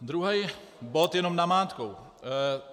Druhý bod jenom namátkou.